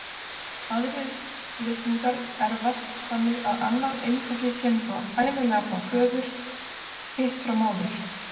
Aðrir litningar erfast þannig að annað eintakið kemur ævinlega frá föður, hitt frá móður.